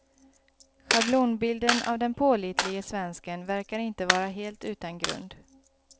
Schablonbilden av den pålitlige svensken verkar inte vara helt utan grund.